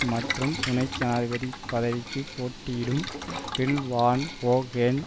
மற்றும் துணை ஜனாதிபதி பதவிக்கு போட்டியிடும் பில் வான் ஒகென்